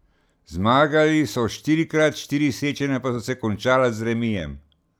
Zmagali so štirikrat, štiri srečanja pa so se končala z remijem.